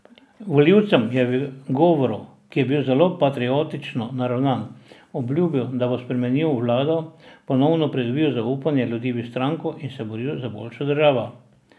Volivcem je v govoru, ki je bil zelo patriotično naravnan, obljubil, da bo spremenil vlado, ponovno pridobil zaupanje ljudi v stranko in se boril za boljšo državo.